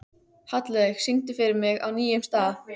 Hallveig, syngdu fyrir mig „Á nýjum stað“.